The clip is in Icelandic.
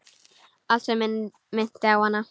Allt sem minnti á hana.